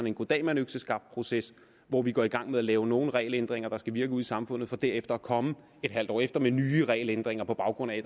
en goddag mand økseskaft proces hvor vi går i gang med at lave nogle regelændringer der skal virke ude i samfundet for derefter at komme et halvt år efter med nye regelændringer på baggrund af